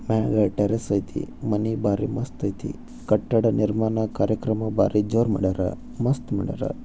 ಆ ಟೇರಸ್ ಅಯ್ತಿ ಮನೆ ಬಾರಿ ಮಸ್ತ್ ಅಯ್ತಿ ಕಟ್ಟಡ ನಿರ್ಮಾಣ ಕಾರ್ಯಕ್ರಮ ಬಾರಿ ಜೋರು ಮಾಡವರ ಮಸ್ತ್ ಮಾಡವರ